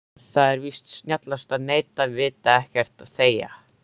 Það er víst snjallast að neita, vita ekkert, þegja.